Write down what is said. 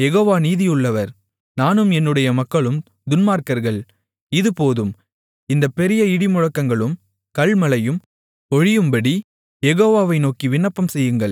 இது போதும் இந்தப் பெரிய இடிமுழக்கங்களும் கல்மழையும் ஒழியும்படி யெகோவாவை நோக்கி விண்ணப்பம் செய்யுங்கள் நான் உங்களைப் போகவிடுவேன் இனி உங்களுக்குத் தடையில்லை என்றான்